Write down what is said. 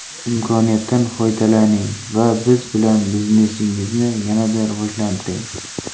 Imkoniyatdan foydalaning va biz bilan biznesingizni yanada rivojlantiring!